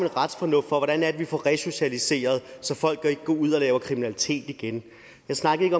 retsfornuft hvordan er det vi får resocialiseret så folk ikke går ud og laver kriminalitet igen jeg snakkede